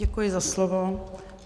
Děkuji za slovo.